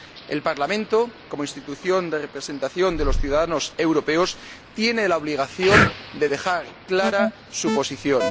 El Parlamento, como institución de representación de los ciudadanos europeos, tiene la obligación de dejar clara su posición.